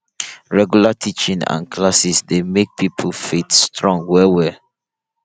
regular teaching and classes dey make pipo faith strong well well